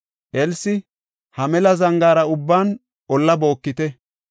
Elsi, “Ha mela zangaara ubban olla bookite.